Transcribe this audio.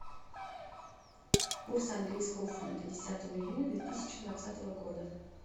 курс английского фунта десятого июня две тысячи двадцатого года